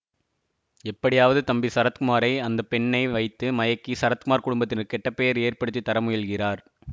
எப்படியாவது தம்பி சரத்குமாரை அந்த பெண்ணை வைத்து மயக்கி சரத்குமார் குடும்பத்தினர்க்கு கெட்ட பெயர் ஏற்படுத்தி தர முயல்கிறார்